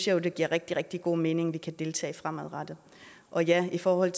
jo at det giver rigtig rigtig god mening at vi kan deltage fremadrettet og ja i forhold